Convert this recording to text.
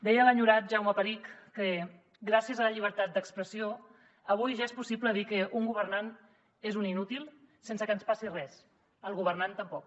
deia l’enyorat jaume perich que gràcies a la llibertat d’expressió avui ja és possible dir que un governant és un inútil sense que ens passi res al governant tampoc